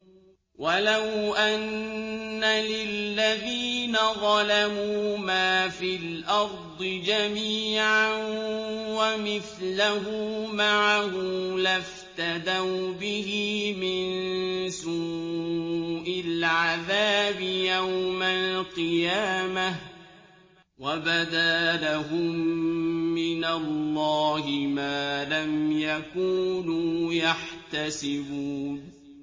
وَلَوْ أَنَّ لِلَّذِينَ ظَلَمُوا مَا فِي الْأَرْضِ جَمِيعًا وَمِثْلَهُ مَعَهُ لَافْتَدَوْا بِهِ مِن سُوءِ الْعَذَابِ يَوْمَ الْقِيَامَةِ ۚ وَبَدَا لَهُم مِّنَ اللَّهِ مَا لَمْ يَكُونُوا يَحْتَسِبُونَ